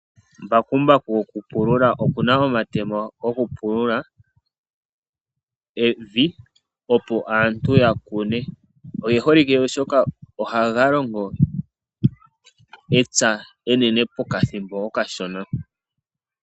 Embakumbaku oli na omatemo, ngoka haga fulu nokupupaleka evi opo aantu ya vule okukuna. Aantu oyendji oye hole okupululitha omapya gawo nembakumbaku, oshoka lyo oha li longo epya enene muule wokathimbo okashona.